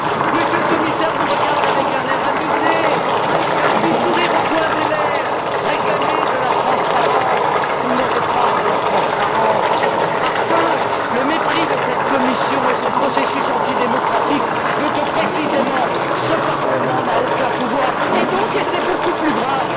Monsieur le Commissaire vous regarde avec un air amusé, avec un petit sourire au coin des lèvres, réclamer de la transparence. Vous n'aurez pas la transparence, parce que le mépris de cette Commission et son processus anti démocratique veulent que, précisément, ce Parlement n'ait aucun pouvoir et donc c'est beaucoup plus grave.